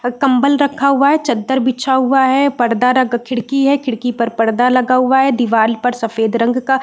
कंबल रखा हुआ है चदर बिछा हुआ है परदा हैं खिड़की हैं खिड़की पर परदा लगा हुआ है दिवार पर सफ़ेद रंग का --